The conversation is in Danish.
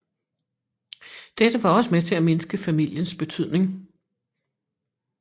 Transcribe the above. Dette var også med til at mindske familiens betydning